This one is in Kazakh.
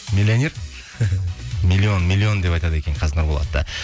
миллионер миллион миллион деп айтады екен қазір нұрболатты